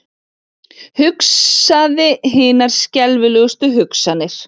Hugsaði hinar skelfilegustu hugsanir.